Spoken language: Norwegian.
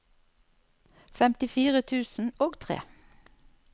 femtifire tusen og tre